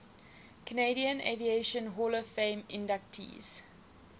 canadian aviation hall of fame inductees